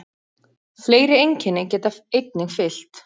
Fleiri einkenni geta einnig fylgt.